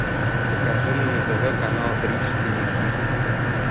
покажи мне на тв канал бридж тиви хитс